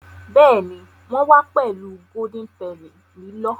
Béèni wón wá pèlú Golden Penny lilọ.